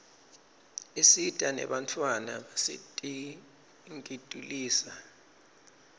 isita nebantfwana basetinkitulisa